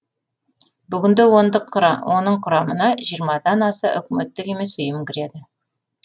бүгінде оның құрамына жиырмадан аса үкіметтік емес ұйым кіреді